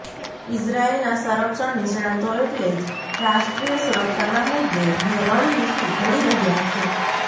ઇઝરાયેલના સંરક્ષણ નિષ્ણાતો એટલે જ રાષ્ટ્રીય સુરક્ષાના મુદ્દે રણનીતિ ઘડી રહ્યા છે